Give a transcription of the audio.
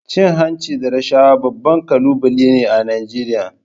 Cin hanci da rashawa babban kalubale ne a Najeriya.